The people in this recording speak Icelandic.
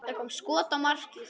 Það kom skot á markið.